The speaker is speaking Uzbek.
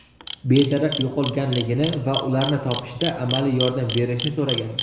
bedarak yo‘qolganligini va ularni topishda amaliy yordam berishni so‘ragan.